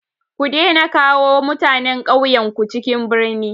Ku daina kawo mutanen ƙauyenku cikin birni!